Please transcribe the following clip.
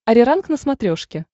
ариранг на смотрешке